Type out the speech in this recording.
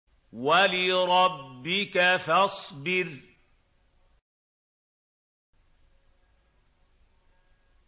وَلِرَبِّكَ فَاصْبِرْ